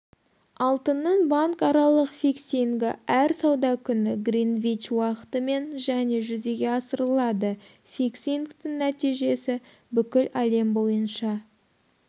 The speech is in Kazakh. алтынның банкаралық фиксингі әр сауда күні гринвич уақытымен және жүзеге асырылады фиксингтің нәтижесі бүкіл әлем бойынша